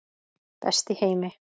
Best í heimi.